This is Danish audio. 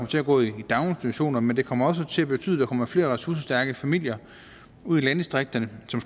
til at gå i daginstitutionerne men det kommer også til at betyde at der kommer flere ressourcestærke familier ud i landdistrikterne som